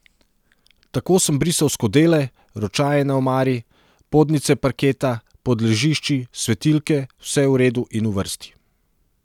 Tako sem brisal skodele, ročaje na omari, podnice parketa, pod ležišči, svetilke, vse v redu in v vrsti.